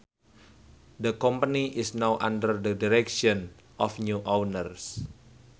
The company is now under the direction of new owners